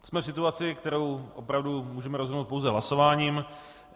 Jsme v situaci, kterou opravdu můžeme rozhodnout pouze hlasováním.